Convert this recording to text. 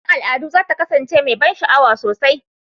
Ranar al'adu za ta kasance mai ban sha'awa sosai.